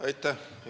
Aitäh!